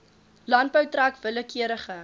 landbou trek willekeurige